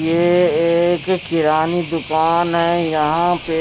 ये एक किराने दुकान है यहां पे